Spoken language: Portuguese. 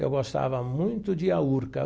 Eu gostava muito de ir à Urca.